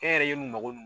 E yɛrɛ ye mun mago